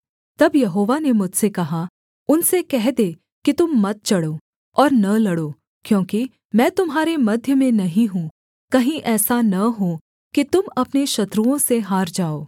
तब यहोवा ने मुझसे कहा उनसे कह दे कि तुम मत चढ़ो और न लड़ो क्योंकि मैं तुम्हारे मध्य में नहीं हूँ कहीं ऐसा न हो कि तुम अपने शत्रुओं से हार जाओ